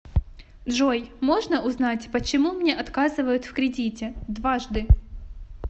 джой можно узнать почему мне отказывают в кредите дважды